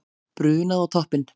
Brunað á toppinn